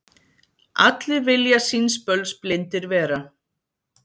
Allir vilja síns böls blindir vera.